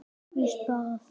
Þar hafiði það.